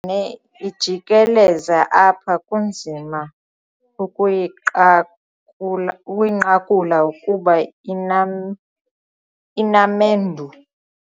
ne ijikeleza apha kunzima ukuyiqa ukuyinqakula kuba ina inamendu.